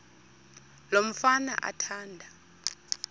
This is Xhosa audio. lo mfana athanda